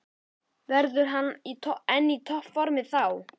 Verður hann enn í toppformi þá?